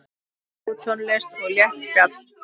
Góð tónlist og létt spjall.